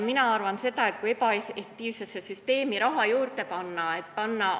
Mina arvan seda, et ebaefektiivsesse süsteemi raha juurde panemine ei aita.